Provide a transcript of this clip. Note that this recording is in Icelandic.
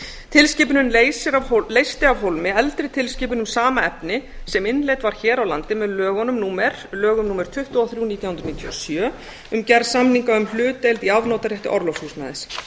tilskipunin leysti af hólmi eldri tilskipun um sama efni sem innleidd var hér á landi með lögum númer tuttugu og þrjú nítján hundruð níutíu og sjö um gerð samninga um hlutdeild í afnotarétti orlofs húsnæðis